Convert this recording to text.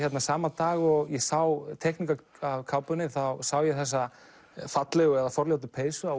sama dag og ég sá teikningu af kápunni sá ég þessa fallegu eða forljótu peysu á